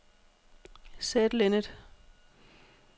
Said Linnet